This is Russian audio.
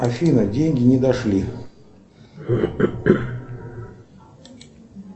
афина деньги не дошли